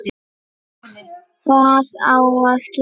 Hvað á að kenna?